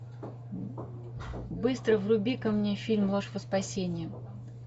быстро вруби ка мне фильм ложь во спасение